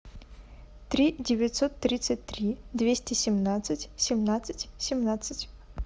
три девятьсот тридцать три двести семнадцать семнадцать семнадцать